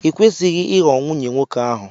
I kwesịghị ịghọ nwunye nwoke ahụ!